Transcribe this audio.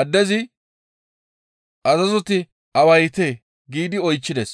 Addezi, «Azazoti awaytee?» giidi oychchides.